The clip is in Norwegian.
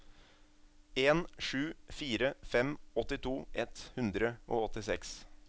en sju fire fem åttito ett hundre og åttiseks